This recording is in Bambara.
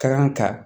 Kan ka